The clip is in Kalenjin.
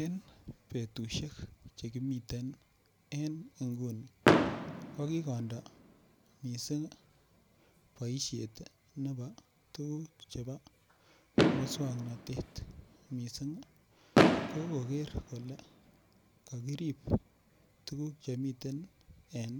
Eng betushek chu kimiten en nguni ko kikondo mising boishet nepo tukuk chebo muswongnotet mising ko koker kole kakirip tukuk chemiten en